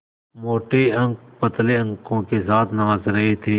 मोटे अंक पतले अंकों के साथ नाच रहे थे